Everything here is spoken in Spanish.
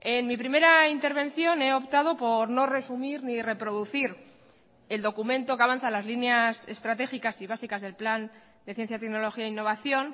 en mi primera intervención he optado por no resumir ni reproducir el documento que avanza las líneas estratégicas y básicas del plan de ciencia tecnología e innovación